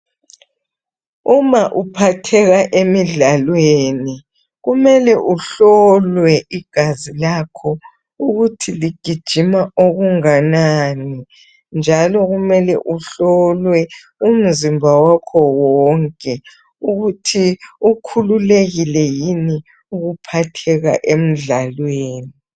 Uma uphatheka emidlalweni. Kumele uhlolwe igazi lakho, ukuthi ligijima okunganani njalo kumele uhlolwe umzimba wakho wonke ukuthi ukhululekile yini, ukuphatheka emdlalweni.